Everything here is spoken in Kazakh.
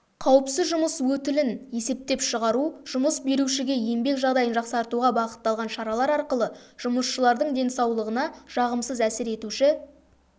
қауіпсіз жұмыс өтілін есептеп шығару жұмыс берушіге еңбек жағдайын жақсартуға бағытталған шаралар арқылы жұмысшылардың денсаулығына жағымсыз әсер етуші